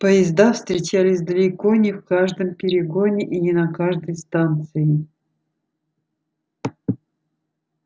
поезда встречались далеко не в каждом перегоне и не на каждой станции